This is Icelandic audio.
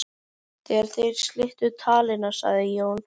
Þegar þeir slitu talinu sagði Jón